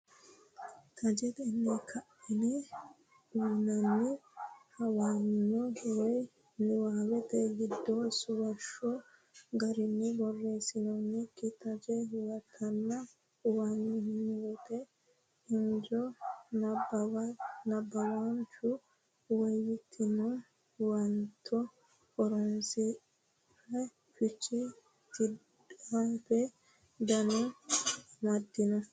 Tajetenni ka ne uynanni huwanyo woy niwaawete giddo suwashshu garinni borreesinoonnikki taje huwatanna huwanyote injo nabbawaanchu woyyitino huwato horonsi re fiche tidhate dandoo amaddino.